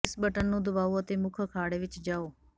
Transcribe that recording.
ਇਸ ਬਟਨ ਨੂੰ ਦਬਾਓ ਅਤੇ ਮੁੱਖ ਅਖਾੜੇ ਵਿੱਚ ਜਾਓ